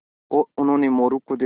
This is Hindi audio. उन्होंने मोरू को देखा